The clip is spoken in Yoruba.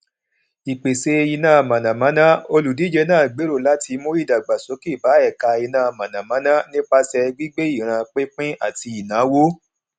ìpèsè iná mọnàmọná olùdíje náà gbèrò láti mú ìdàgbàsókè bá ẹka iná mọnàmọná nípasẹ gbígbé ìran pínpín àti ìnáwó